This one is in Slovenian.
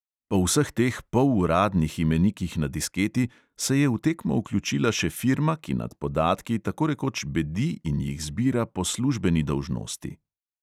Po vseh teh poluradnih imenikih na disketi se je v tekmo vključila še firma, ki nad podatki tako rekoč bedi in jih zbira po službeni dolžnosti.